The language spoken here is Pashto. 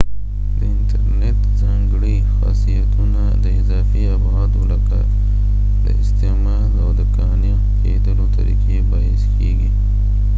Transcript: د انترنیت ځانګړي خاصیتونه د اضافي ابعادو لکه د استعمال او د قانع کیدلو طریقې باعث کیږي